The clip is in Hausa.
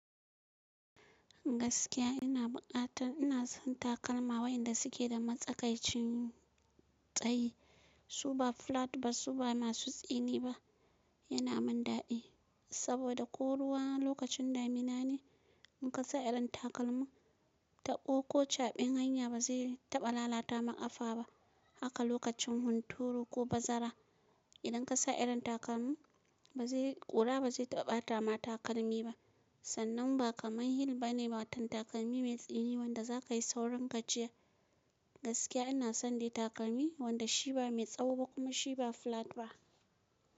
Gaskiya ina bukata ina son takalma wayanda suke da matsakaicin tsayi. Su ba flat ba su ba masu tsini ba. Yana min daɗi saboda ko ruwa lokacin damina ne, in kasa irin takalmin taɓo ko caɓin hanya ba zai taɓa lalata ma ƙafa ba. Haka lokacin hunturu ko bazara idan ka sa irin takalmin ba zai ƙura ba zai taɓa bata ma takalmi ba. Sannan ba kamar hill ba ne wato takalmi mai tsini wanda za ka yi saurin gajiya. Gaskiya ina son dai takalmi wanda shi ba mai tsawo ba kuma shi ba flat ba.